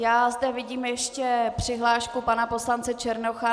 Já zde vidím ještě přihlášku pana poslance Černocha.